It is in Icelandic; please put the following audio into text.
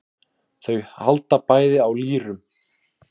Þau halda bæði á lýrum.